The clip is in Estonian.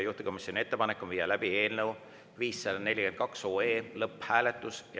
Juhtivkomisjoni ettepanek on viia läbi eelnõu 542 lõpphääletus.